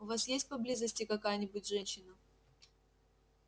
у вас есть поблизости какая-нибудь женщина